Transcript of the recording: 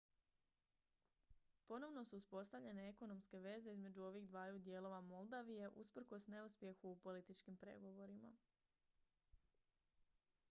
ponovno su uspostavljene ekonomske veze između ovih dvaju dijelova moldavije usprkos neuspjehu u političkim pregovorima